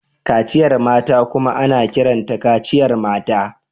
Kaciyar mata kuma ana kiranta kaciyar mata.